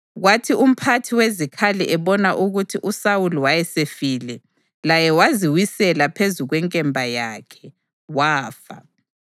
Kwathi umphathi wezikhali ebona ukuthi uSawuli wayesefile, laye waziwisela phezu kwenkemba yakhe, wafa.